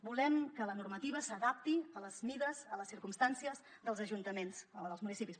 volem que la normativa s’adapti a les mides a les circumstàncies dels municipis